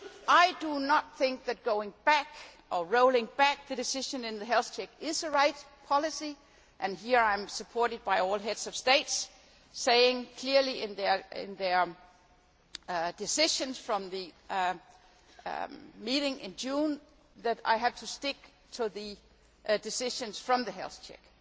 I do not think that going back or rolling back the decision in the health check is the right policy, and here I am supported by all heads of state saying clearly in their decisions from the meeting in June that I have to stick to the decisions from the health check.